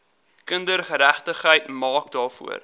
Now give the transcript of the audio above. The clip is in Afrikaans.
kindergeregtigheid maak daarvoor